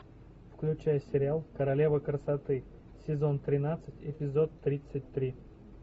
включай сериал королева красоты сезон тринадцать эпизод тридцать три